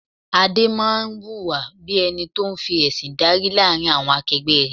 Adé máa ń hùwà bí ẹni tó ń fi ẹsin dárí láàrin àwọn akegbe rẹ.